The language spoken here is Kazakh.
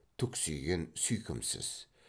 түксиген сүйкімсіз